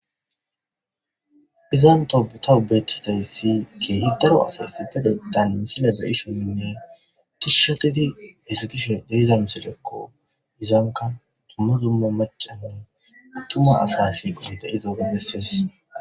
izan tobettizayssi kehi daro asasi betettan misile be ishoninne tishshatidi hezikishon deiza misilekko izanka tumma zumma macanne attuma asafi qonte izooge bessees